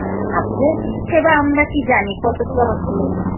ঠাকুরের সেবা আমরা কী জানি